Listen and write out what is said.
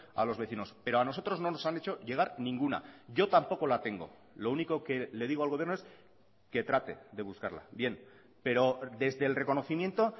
a los vecinos pero a nosotros no nos han hecho llegar ninguna yo tampoco la tengo lo único que le digo al gobierno es que trate de buscarla bien pero desde el reconocimiento